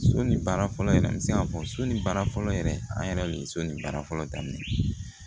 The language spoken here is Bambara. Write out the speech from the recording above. So ni baara fɔlɔ yɛrɛ n bɛ se k'a fɔ so ni baara fɔlɔ yɛrɛ an yɛrɛ bɛ so ni baara fɔlɔ daminɛ